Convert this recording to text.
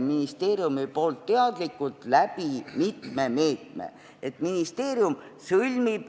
ministeerium teadlikult maandanud mitme meetme abil.